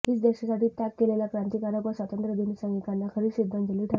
हीच देशासाठी त्याग केलेल्या क्रांतिकारक व स्वातंत्र्यसैनिकांना खरी श्रद्धांजली ठरेल